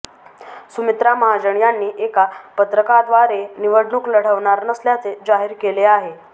सुमित्रा महाजन यांनी एका पत्रकाद्वारे निवडणूक लढवणार नसल्याचे जाहीर केले आहे